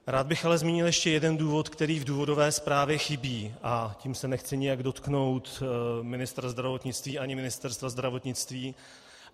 Rád bych ale zmínil ještě jeden důvod, který v důvodové zprávě chybí, a tím se nechci nijak dotknout ministra zdravotnictví ani Ministerstva zdravotnictví.